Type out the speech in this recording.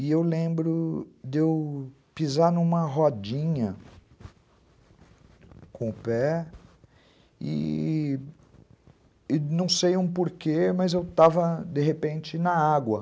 E eu lembro de eu pisar numa rodinha com o pé e não sei um porquê, mas eu estava, de repente, na água.